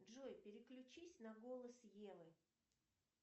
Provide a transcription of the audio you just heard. джой переключись на голос евы